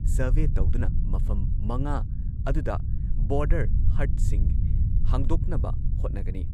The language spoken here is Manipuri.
ꯀꯤꯂꯣꯃꯤꯇꯔ ꯂꯤꯁꯤꯡ ꯑꯃ ꯆꯥꯇ꯭ꯔꯨꯛ ꯅꯤꯐꯨ ꯁꯥꯡꯕ ꯉꯝꯈꯩ ꯄꯔꯤꯡ ꯑꯁꯤꯗ ꯃ꯭ꯌꯥꯟꯃꯥꯔꯒꯤ ꯃꯤꯑꯣꯏ ꯃꯥꯄꯜ ꯌꯥꯎꯕ ꯑꯄꯨꯟꯕ ꯀꯥꯡꯕꯨ ꯑꯃꯅ